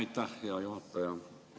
Aitäh, hea juhataja!